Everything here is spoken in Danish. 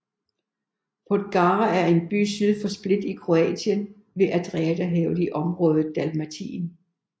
Podgora er en by syd for Split i Kroatien ved Adriaterhavet i området Dalmatien